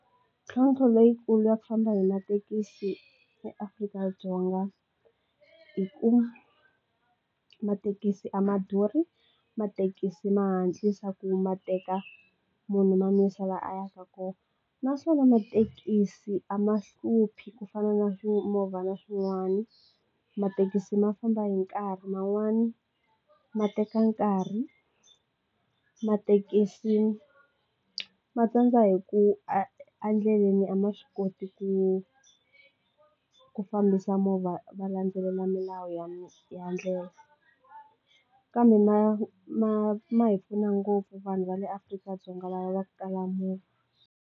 Mintlhotlho leyikulu ya ku famba hi mathekisi eAfrika-Dzonga hi ku mathekisi a ma durhi mathekisi ma hatlisa ku ma teka munhu ma n'wi yisa laha a yaka kona naswona mathekisi a ma hluphi ku fana na timovha na swin'wani mathekisi ma famba hi nkarhi man'wani ma teka nkarhi mathekisi ma tsandza hi ku e endleleni a ma swi koti ku ku fambisa movha va landzelela milawu ya ndlela kambe ma ma ma hi pfuna ngopfu vanhu va le Afrika-Dzonga laha va ku kala movha.